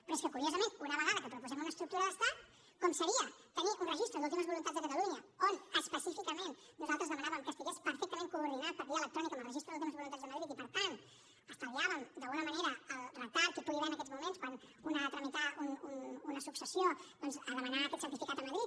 però és que curiosament una vegada que proposem una estructura d’estat com seria tenir un registre d’últimes voluntats de catalunya on específicament nosaltres demanàvem que estigués perfectament coordinat per via electrònica amb el registre d’últimes voluntats de madrid i per tant estalviàvem d’alguna manera el retard que hi pugui haver en aquests moments quan un ha de tramitar una successió doncs a demanar aquest certificat a madrid